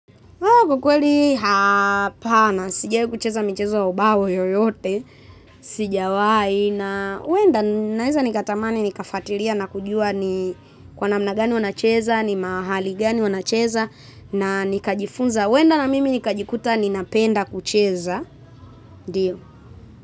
Kwa kweli hapana, sijawai kucheza mchezo wa ubao yoyote, sijawai na huwenda naeza nikatamani nikafatilia na kujua ni kwa namna gani wanacheza, ni mahali gani wanacheza na nikajifunza huenda na mimi nikajikuta ninapenda kucheza.